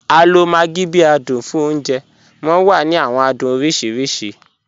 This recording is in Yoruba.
A lo maggi bi adun fun ọ̀unjẹ, wọn wa ni awọn adun oriṣiriṣi.